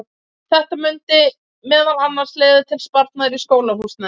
þetta mundi meðal annars leiða til sparnaðar í skólahúsnæði